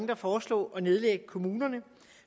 der foreslår at nedlægge kommunerne